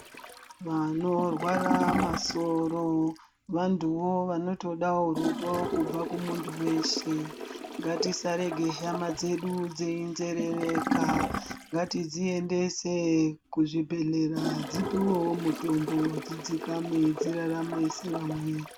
Vanorwara masoro ,vantuwo vanotodawo rudo kubva kumuntu weshe. Ngatisarege hama dzedu dziyinzerereka ngatidziendese kuzvibhedhlera dzipiwewo mutombo dzidzikame, dzirarame sevamweni.